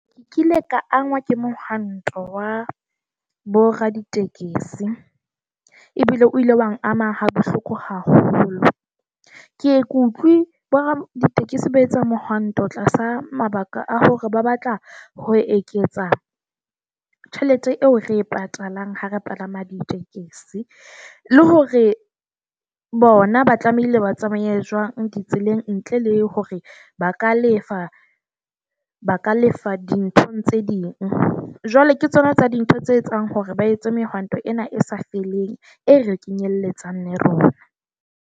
Ke kile ka angwa ke mohwanto wa boraditekesi ebile o ile wa nama ha bohloko haholo. Ke ye kutlwe boraditekesi ba etsa mohwanto tlasa mabaka a hore ba batla ho eketsa tjhelete eo re e patalang ha re palama ditekesi. Le hore bona ba tlamehile ba tsamaya jwang ditseleng ntle le hore ba ka lefa ba ka lefa dinthong tse ding. Jwale ke tsona tsa dintho tse etsang hore ba etse mehato ena e sa feleng, e re kenyelletsang le rona.